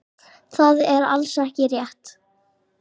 Það er alls ekki rétt.